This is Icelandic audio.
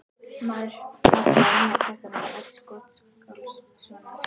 Maðurinn hampaði Nýja testamenti Odds Gottskálkssonar.